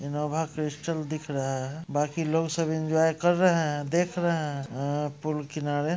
Innova Crysta दिख रहा है बांकि लोग सब इन्जॉय कर रहे हैदेख रहे है अ पूल किनारे|